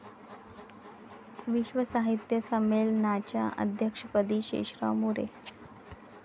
विश्व साहित्य संमेलनाच्या अध्यक्षपदी शेषराव मोरे